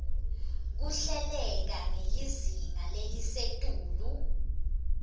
kuhleleke ngelizinga lelisetulu